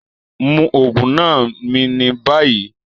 Mú oogun náà mí ní bayí!